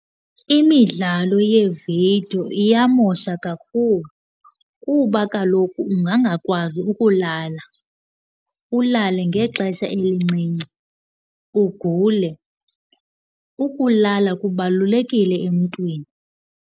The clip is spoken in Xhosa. Imidlalo yeevidiyo iyamosha kakhulu kuba kaloku ungangakwazi ukulala, ulale ngexesha elincinci, ugule. Ukulala kubalulekile emntwini.